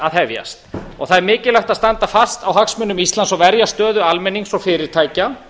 að hefjast og það er mikilvægt að standa fast á hagsmunum íslands og verja stöðu almennings og fyrirtækja